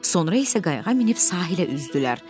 Sonra isə qayağa minib sahilə üzdülər.